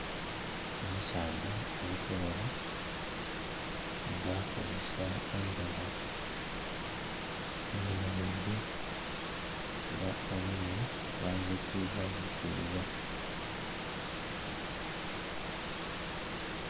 Omusaadha ali kuloba nga akozesa eiribo, ayemereire era obwire bwanzikiza zikiza.